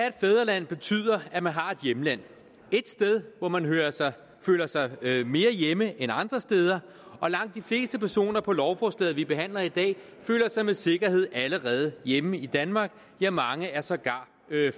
et fædreland betyder at man har et hjemland et sted hvor man føler sig mere hjemme end andre steder og langt de fleste personer på lovforslaget vi behandler i dag føler sig med sikkerhed allerede hjemme i danmark ja mange er sågar